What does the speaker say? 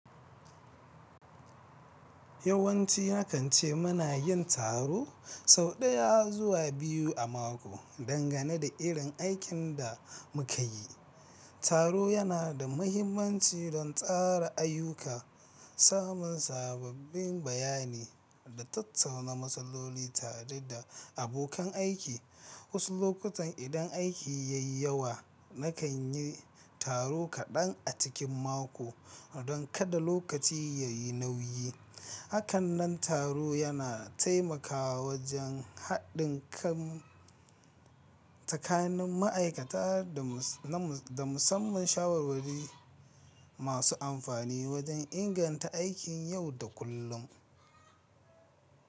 Yawanci nakan ce muna yin taro sau ɗaya zuwa biyu a mako, dangane da irin aikin da muka yi. Taro yana da mahimmanci don tsara ayyuka, samun sababbin bayanai da tattauna masalloli tare da abokan aiki. Wasu lokutan idan aiki ya yi yawa, nakan yi taro kaɗan a cikin mako don kada lokaci ya yi nauyi. Hakanan taro yana taimakawa wajen haɗin kan tsakanin ma'aikata da musamman shawarwari masu amfani wajen inganta aikin yau da kullum.